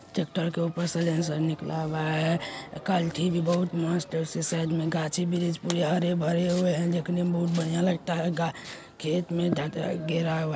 Tractor के ऊपर से साईलेंसर निकला हुआ हैं। कल्ठी भी बहुत मस्तउसके साईड मे गाछी वृक्ष भी हरे भरे हुए हैं। देखने मे बोहत बढ़िया लगता हैं। गा-खेतमे घेरा हुआ है।